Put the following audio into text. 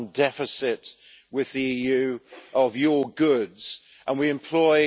deficit with the EU of your goods, and we employ